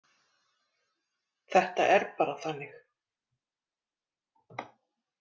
Þetta er bara þannig.